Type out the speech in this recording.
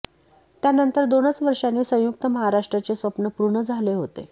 त्यानंतर दोनच वर्षांनी संयुक्त महाराष्ट्राचे स्वप्न पूर्ण झाले होते